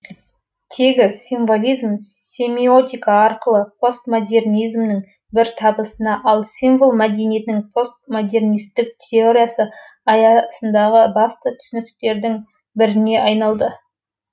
тегі символизм семиотика арқылы постмодернизмнің бір табысына ал символ мәдениеттің постмодернистік теориясы аясындағы басты түсініктердің біріне айналады